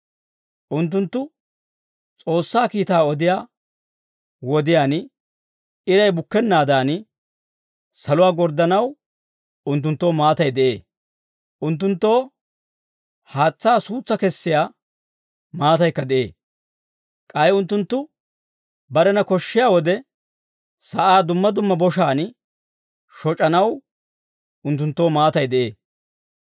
Unttunttu S'oossaa kiitaa odiyaa wodiyaan iray bukkennaadan, saluwaa gorddanaw unttunttoo maatay de'ee. Unttunttoo haatsaa suutsaa kessiyaa maataykka de'ee; k'ay unttunttu barena koshshiyaa wode, sa'aa dumma dumma boshaan shoc'anaw unttunttoo maatay de'ee.